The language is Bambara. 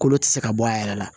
Kolo tɛ se ka bɔ a yɛrɛ la